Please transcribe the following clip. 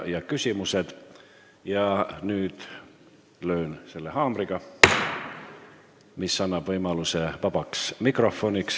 Ja nüüd ma löön selle haamriga, mis annab võimaluse võtta sõna vabas mikrofonis.